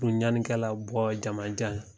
ɲanikɛla bɔ jamanjan ye.